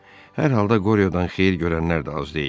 Hər halda Qoryodan xeyir görənlər də az deyildi.